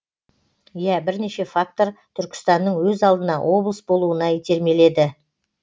иә бірнеше фактор түркістанның өз алдына облыс болуына итермеледі